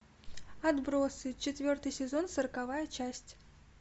отбросы четвертый сезон сороковая часть